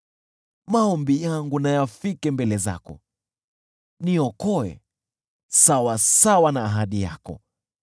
Maombi yangu na yafike mbele zako, niokoe sawasawa na ahadi yako.